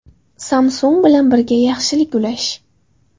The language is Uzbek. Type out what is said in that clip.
Samsung bilan birga yaxshilik ulash.